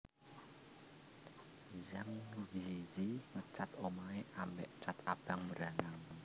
Zhang Ziyi ngecat omahe ambek cat abang mbranang